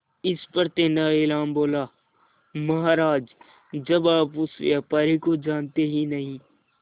इस पर तेनालीराम बोला महाराज जब आप उस व्यापारी को जानते ही नहीं